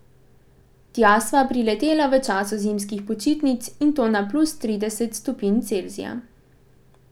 Tja sva priletela v času zimskih počitnic, in to na plus trideset stopinj Celzija.